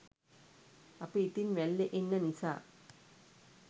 අපි ඉතින් වැල්ලෙ ඉන්න නිසා